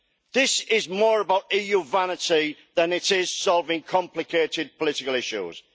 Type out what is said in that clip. This is more about EU vanity than it is about solving complicated political issues.